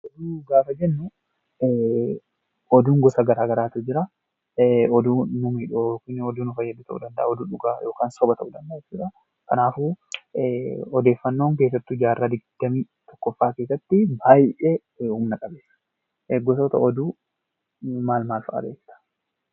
Oduu gaafa jennuu, oduun gosa gara garaatu jira. Oduu nu miidhuu fi nu fayyadu ta'uu danda'a. oduu dhugaa yookaan soba ta'uu danda'a jechuudha. Kanaafuu odeeffannoon keessattuu jaarraa 21ffaa keessatti baay'ee humna qabeessa. Gosoota oduu maal maal fa'a beekta?